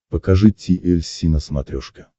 покажи ти эль си на смотрешке